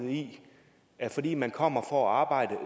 at fordi man kommer for at arbejde